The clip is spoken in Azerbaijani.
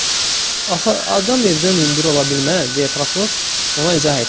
Axı axı adam evdən hündür ola bilməz, deyə prokuror ona izah etdi.